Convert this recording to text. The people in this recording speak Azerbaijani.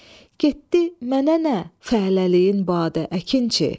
Getdi mənə nə fələliyin badə, əkinçi.